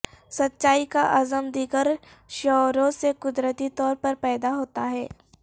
سچائی کا عزم دیگر شعوروں سے قدرتی طور پر پیدا ہوتا ہے